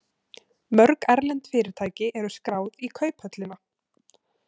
Mörg erlend fyrirtæki eru skráð í kauphöllina.